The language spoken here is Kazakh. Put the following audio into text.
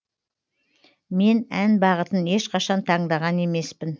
мен ән бағытын ешқашан таңдаған емеспін